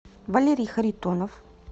валерий харитонов